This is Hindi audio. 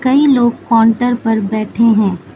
कई लोग काउंटर पर बैठे हैं।